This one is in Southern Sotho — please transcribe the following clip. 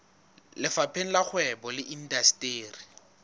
lefapheng la kgwebo le indasteri